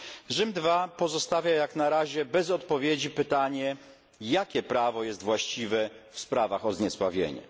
Rzym II pozostawia jak na razie bez odpowiedzi pytanie jakie prawo jest właściwe w sprawach o zniesławienie.